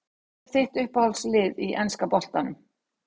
Hvað er þitt uppáhalds lið í enska boltanum?